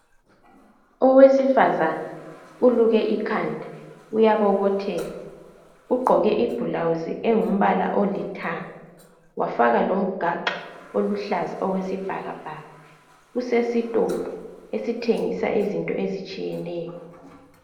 Owesifazane uluke ikhanda uyabobotheka ugqoke ibhulawusi engumbala olithanga wafaka lomgaxo oluhlaza okwesibhakabhaka usesitolo esithengisa izinto ezitshiyeneyo.